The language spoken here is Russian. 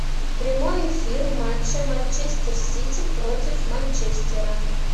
прямой эфир матча манчестер сити против манчестера